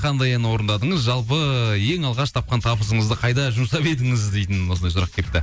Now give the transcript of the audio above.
қандай ән орындадыңыз жалпы ең алғаш тапқан табысыңызды қайда жұмсап едіңіз дейтін осындай сұрақ келіпті